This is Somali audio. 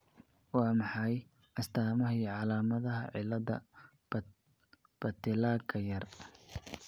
Waa maxay astaamaha iyo calaamadaha ' cillada Patellaka yaar '?